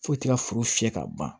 Foyi t'i ka foro fiyɛ ka ban